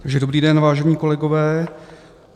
Dobrý den, vážení kolegové.